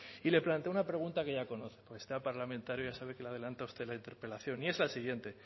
y le planteo una pregunta que ya conoce este parlamentario le adelanta a usted la interpelación y es el siguiente